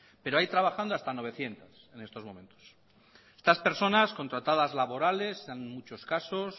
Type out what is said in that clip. pero hay trabajando hasta novecientos en estos momentos estas personas contratadas laborales en muchos casos